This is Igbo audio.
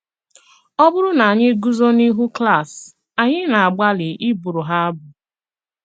Ọ̀ bụ̀rụ̀ na ànyị̀ gùzò n’íhù klàs, ànyị̀ na-àgbàlì ị bụ̀rụ̀ ha abụ.